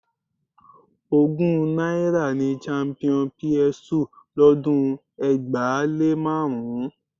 Ogún náírà ni champion PS 2 lọ́dún ẹgbàá-lé-márùn-ún